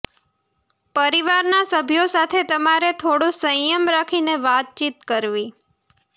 પરિવારના સભ્યો સાથે તમારે થોડો સંયમ રાખીને વાતચીત કરવી